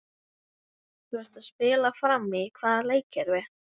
Þú ert að spila frammi í hvaða leikkerfi?